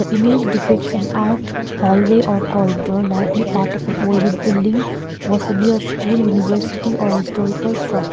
image depicts an art hallway or corridor likely part of an older building possibly a school university or historical str --